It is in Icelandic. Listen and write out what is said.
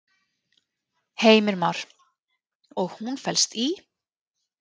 Heimir Már: Og hún felst í?